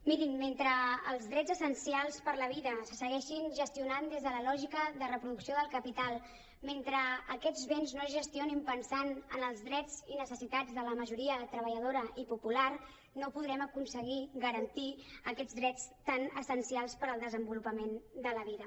mirin mentre els drets essencials per la vida se segueixin gestionant des de la lògica de reproducció del capital mentre aquests béns no es gestionin pensant en els drets i necessitats de la majoria treballadora i po·pular no podrem aconseguir garantir aquests drets tan essencials per al desenvolu·pament de la vida